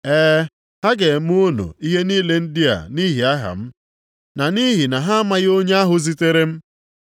Ee, ha ga-eme unu ihe niile ndị a nʼihi aha m, na nʼihi na ha amaghị onye ahụ zitere m.